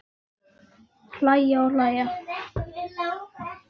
Hlæja og hlæja.